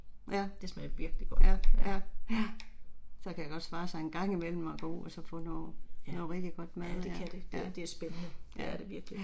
Det smager virkelig godt, ja. Ja, ja det kan det, det det er spændende det er det virkelig